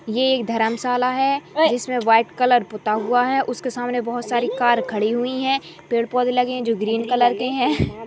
ये एक धर्मशाला है जिसमें वाईट कलर पुता हुआ है उसके सामने बहोत सारी कार खड़ी हुईं हैं पेड़ पौधे लगे हैं जो ग्रीन कलर के हैं।